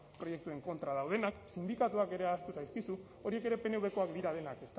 proiektuen kontra daudenak sindikatuak ere ahaztu zaizkizu horiek ere pnvkoak dira denak